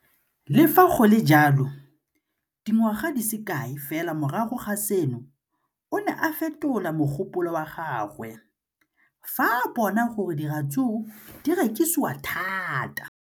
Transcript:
Le fa go le jalo, dingwaga di se kae fela morago ga seno, o ne a fetola mogopolo wa gagwe fa a bona gore diratsuru di rekisiwa thata.